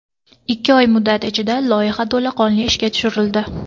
Ikki oy muddat ichida loyiha to‘laqonli ishga tushirildi.